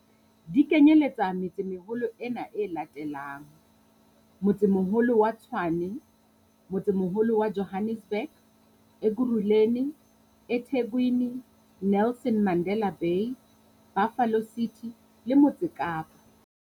Di kenyeletsa metse-meholo ena e latelang- Motsemoholo wa Tshwane Motsemoholo wa Johannesburg Ekurhuleni eThekwini Nelson Mandela Bay Buffalo City le Motse Kapa